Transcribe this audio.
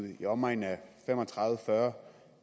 i omegnen af fem og tredive til fyrre